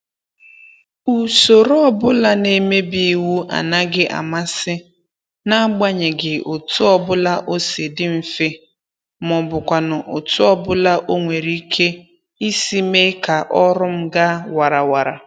Usoro ọbụla na-emebi iwu anaghị amasị n'agbanyeghị otu ọbụla o si dị mfe, maọbụkwanụ otu ọbụla o nwere ike isi mee ka ọrụ m ga warawara